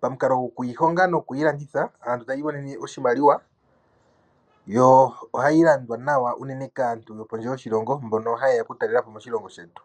pamukalo gokuyihonga nokuyi landitha aantu taya imonene oshimaliwa. Yo ohayi landwa nawa unene kaantu yopondje yoshilongo mbono ta yeya okutalela po moshilongo shetu.